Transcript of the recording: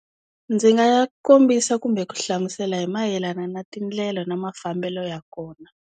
Ndzi nga ya kombisa kumbe ku hlamusela hi mayelana na tindlela na mafambelo ya kona.